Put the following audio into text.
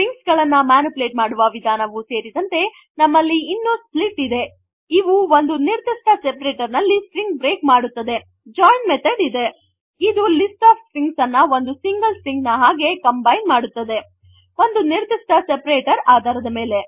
string ಗಳನ್ನು manipulate ಮಾಡುವ ವಿಧಾನವು ಸೇರಿದಂತೆ ನಮ್ಮಲ್ಲಿ ಇನ್ನು ಸ್ಪ್ಲಿಟ್ ಇದೆ ಇವು ಒಂದು ನಿರ್ಧಿಷ್ಟ seperatorನಲ್ಲಿ ಸ್ಟ್ರಿಂಗ್ ಬ್ರೇಕ್ ಮಾಡುತ್ತದೆ ಜಾಯಿನ್ ಮೆಥಡ್ ಇದೆ ಇದು ಲಿಸ್ಟ್ ಆಫ್ ಸ್ಟ್ರಿಂಗ್ ಅನ್ನು ಒಂದು ಸಿಂಗಲ್ ಸ್ಟ್ರಿಂಗ್ ನ ಹಾಗೆ ಕಂಬೈನ್ ಮಾಡುತ್ತದೆ ಒಂದು ನಿರ್ಧಿಷ್ಟ ಸೆಪರೇಟರ್ ಆಧಾರದ ಮೇಲೆ